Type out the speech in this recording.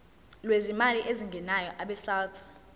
lwezimali ezingenayo abesouth